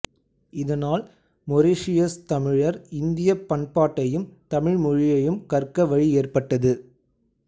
இதனால் மொரீசியசுத் தமிழர் இந்தியப் பண்பாட்டையும் தமிழ் மொழியையும் கற்க வழி ஏற்பட்டது